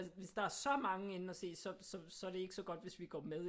Hvis der er så mange inde og se så er det ikke så godt hvis vi går med